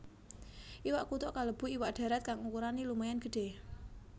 Iwak kutuk kalebu iwak dharat kang ukurané lumayan gedhé